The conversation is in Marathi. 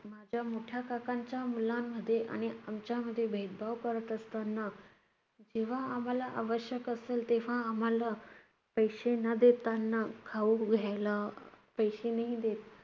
माझ्या मोठ्या काकांच्या मुलांमध्ये आणि आमच्यामध्ये भेदभाव करत असताना, जेव्हा आम्हाला आवश्यक असेल तेव्हा आम्हाला पैशे न देताना खाऊ घ्यायला अह पैसे नाही देत.